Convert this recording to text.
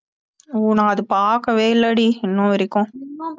ஓ அது நான் பார்க்கவே இல்லடி இன்ன வரைக்கும்